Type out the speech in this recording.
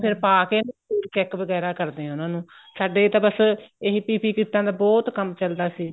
ਉਹ ਫ਼ੇਰ ਪਾਕੇ check ਵਗੈਰਾ ਕਰਦੇ ਏ ਉਹਨਾ ਨੂੰ ਸਾਡੇ ਤਾਂ ਬੱਸ ਏਹੀ PPE ਕਿੱਟਾ ਦਾ ਬਹੁਤ ਕੰਮ ਚੱਲਦਾ ਸੀ